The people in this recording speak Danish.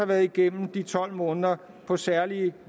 været igennem tolv måneder på særlige